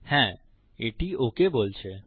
হ্যাঁ এটি ওক বলছে